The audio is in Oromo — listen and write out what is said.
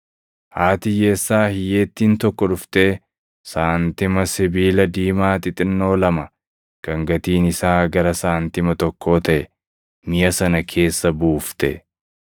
Haati hiyyeessaa hiyyeettiin tokko dhuftee saantima sibiila diimaa xixinnoo lama kan gatiin isaa gara saantima tokkoo taʼe miʼa sana keessa buufte.